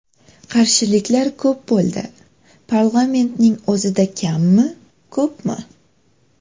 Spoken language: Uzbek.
Qarshiliklar ko‘p bo‘ldi, parlamentning o‘zida kammi, ko‘pmi?